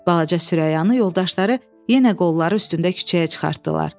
Balaca Sürəyanı yoldaşları yenə qolları üstündə küçəyə çıxartdılar.